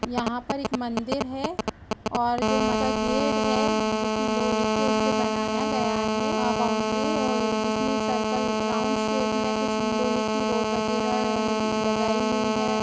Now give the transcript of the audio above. यहाँ पर एक मंदिर है और जो म- का गेट है जो कि लोहे के उसे बनाया गया है अ- बाउंड्री है और जिसमें सर्किल राउंड शेप में कुछ लोहे की रोड वगैरह अ- लगाई हुई है।